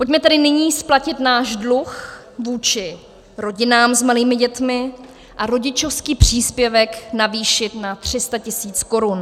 Pojďme tedy nyní splatit náš dluh vůči rodinám s malými dětmi a rodičovský příspěvek navýšit na 300 tisíc korun.